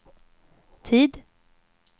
tid